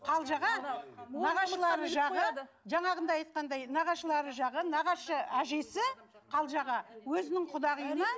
қалжаға нағашылары жағы жаңағыдай айтқандай нағашылары жағы нағашы әжесі қалжаға өзінің құдағиына